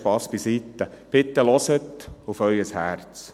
Spass beiseite, bitte hören Sie auf Ihr Herz.